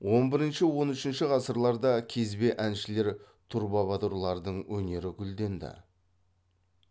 он бірінші он үшінші ғасырларда кезбе әншілер трубабадурлардың өнері гүлденді